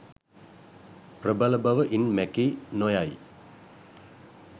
ප්‍රබල බව ඉන් මැකී නො යයි